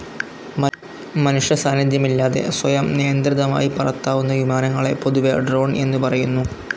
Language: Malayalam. മനുഷ്യസാന്നിധ്യമില്ലാതെ സ്വയം നിയന്ത്രിതമായി പറത്താവുന്ന വിമാനങ്ങളെ പൊതുവേ ഡ്രോൺ എന്നുപറയുന്നു.